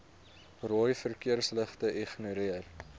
rooi verkeersligte ignoreer